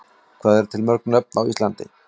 Hvað eru til mörg nöfn á Íslandi?